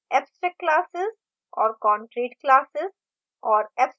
abstract classes और concrete classes और